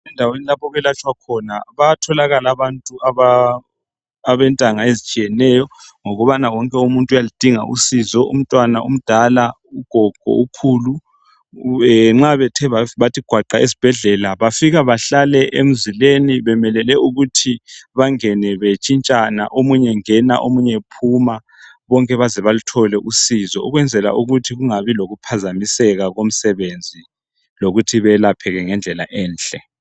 Endaweni lapho okwelatshwa khona bayatholakala abantu abentanga ezitshiyeneyo ngokubana wonke umuntu uyaludinga usizo umntwana, ugogo kumbe ,ukhulu. Nxa bethe bathi gwaqa esibhedlela bafika bahlale emzileni bemelele ukuthi bangene bentshintshana omunye engena omunye ephuma ukwenzela ukuthi kungabi lokuphazamiseka komsebenzi lokuthi belapheke ngendlela enhle.